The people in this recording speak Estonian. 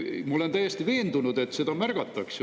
Ma olen täiesti veendunud, et seda märgatakse.